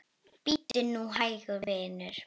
Bíddu nú hægur, vinur.